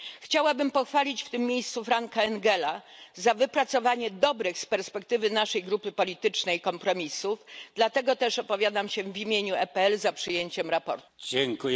Chciałabym pochwalić w tym miejscu Franka Engela za wypracowanie dobrych z perspektywy naszej grupy politycznej kompromisów, dlatego też opowiadam się w imieniu PPE za przyjęciem sprawozdania.